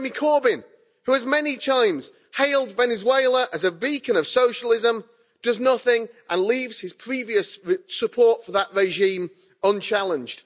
That Jeremy Corbyn, who has many times hailed Venezuela as a beacon of socialism, does nothing and leaves his previous support for that regime unchallenged.